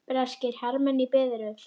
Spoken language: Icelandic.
Breskir hermenn í biðröð.